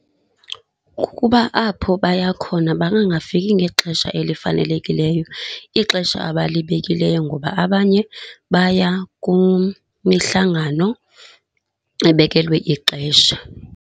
Kukuba apho baya khona bangangafiki ngexesha elifanelekileyo, ixesha abalibekileyo ngoba abanye baya kumihlangano ebekelwe ixesha.